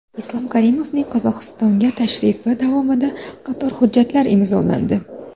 Islom Karimovning Qozog‘istonga tashrifi davomida qator hujjatlar imzolandi.